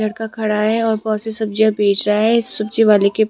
लड़का खड़ा है और बहुत सी सब्जियां बेच रहा है इस सब्जी वाले के--